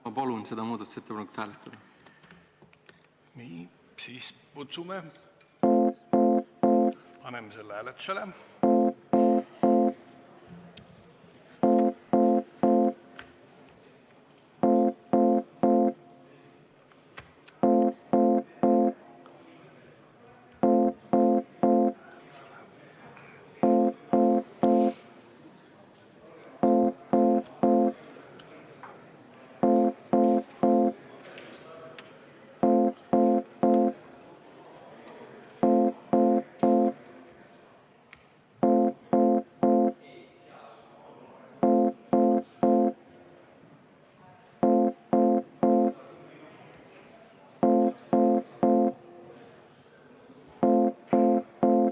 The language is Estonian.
Ma palun seda muudatusettepanekut hääletada!